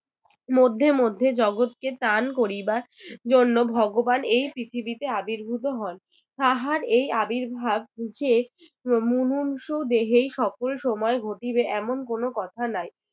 মধ্যে মধ্যে জগৎকে ত্রাণ করিবার জন্য ভগবান এই পৃথিবীতে আবির্ভূত হন তাহার এই আবির্ভাব যে দেহেই সকল সময় ঘটিবে এমন কোনো কথা নাই।